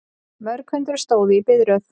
Mörg hundruð stóðu í biðröð